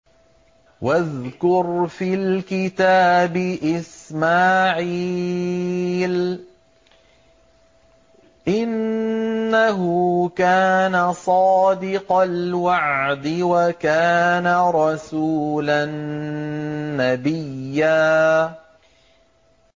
وَاذْكُرْ فِي الْكِتَابِ إِسْمَاعِيلَ ۚ إِنَّهُ كَانَ صَادِقَ الْوَعْدِ وَكَانَ رَسُولًا نَّبِيًّا